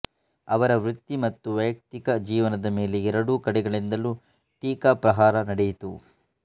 ಅವರ ವೃತ್ತಿ ಮತ್ತು ವೈಯಕ್ತಿಕ ಜೀವನದ ಮೇಲೆ ಎರಡೂ ಕಡೆಗಳಿಂದಲೂ ಟೀಕಾ ಪ್ರಹಾರ ನಡೆಯಿತು